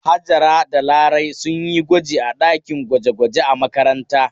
Hajara da Larai sun yi gwaji a ɗakin gwaje-gwaje a makaranta.